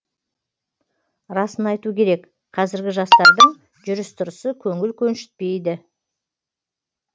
расын айту керек қазіргі жастардың жүріс тұрысы көңіл көншітпейді